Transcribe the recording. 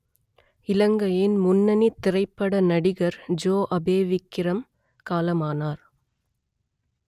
இலங்கையின் முன்னணித் திரைப்பட நடிகர் ஜோ அபேவிக்கிரம் காலமானார்